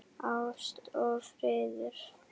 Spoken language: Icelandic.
Ást og friður.